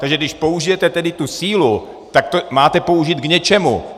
Takže když použijete tedy tu sílu, tak ji máte použít k něčemu.